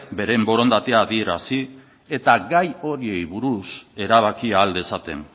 beren borondatea adierazi eta gai horiei buruz erabaki ahal dezaten